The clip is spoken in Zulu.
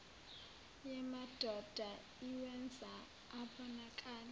yamadoda iwenza abonakale